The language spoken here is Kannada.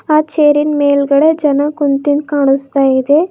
ಆ ಚೇರಿನ್ ಮೇಲ್ಗಡೆ ಜನ ಕುಂತಿದ್ ಕಾಣಿಸ್ತಾ ಇದೆ.